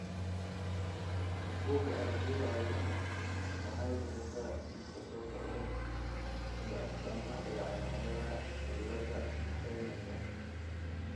Bugga Aragtiyaha Aadanaha waxay bixisaa liiska soo socda ee astaamaha iyo calaamadaha cillada Raineka.